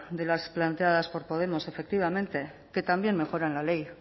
de las planteadas por podemos efectivamente que también mejoran la ley